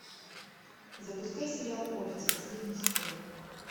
запускай сериал офис последний сезон